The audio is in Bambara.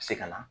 Se ka na